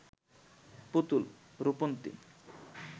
Putul, Rupanti